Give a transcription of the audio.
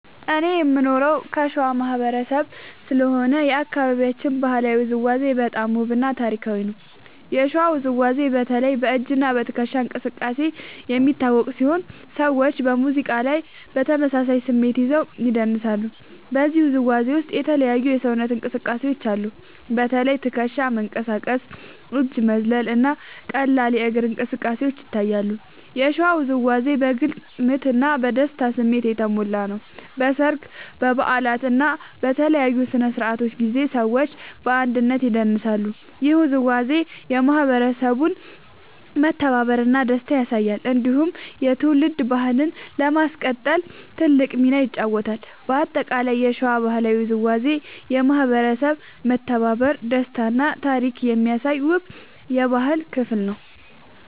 እኔ የምኖረው ከሸዋ ማህበረሰብ ስለሆነ የአካባቢያችን ባህላዊ ውዝዋዜ በጣም ውብ እና ታሪካዊ ነው። የሸዋ ውዝዋዜ በተለይ በ“እጅ እና ትከሻ እንቅስቃሴ” የሚታወቅ ሲሆን ሰዎች በሙዚቃ ላይ በተመሳሳይ ስሜት ይዘው ይደንሳሉ። በዚህ ውዝዋዜ ውስጥ የተለያዩ የሰውነት እንቅስቃሴዎች አሉ። በተለይ ትከሻ መንቀሳቀስ፣ እጅ መዝለል እና ቀላል እግር እንቅስቃሴ ይታያሉ። የሸዋ ውዝዋዜ በግልጽ ምት እና በደስታ ስሜት የተሞላ ነው። በሰርግ፣ በበዓላት እና በልዩ ስነ-ስርዓቶች ጊዜ ሰዎች በአንድነት ይደንሳሉ። ይህ ውዝዋዜ የማህበረሰቡን መተባበር እና ደስታ ያሳያል። እንዲሁም የትውልድ ባህልን ለማስቀጠል ትልቅ ሚና ይጫወታል። በአጠቃላይ የሸዋ ባህላዊ ውዝዋዜ የማህበረሰብ መተባበር፣ ደስታ እና ታሪክ የሚያሳይ ውብ የባህል ክፍል ነው።